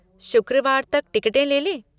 शुक्रवार तक टिकटें ले लें?